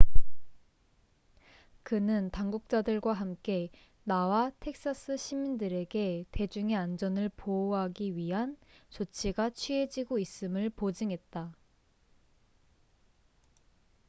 그는 당국자들과 함께 나와 텍사스 시민들에게 대중의 안전을 보호하기 위한 조치가 취해지고 있음을 보증했다